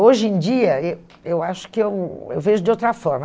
Hoje em dia, eh eu acho que eu, eu vejo de outra forma.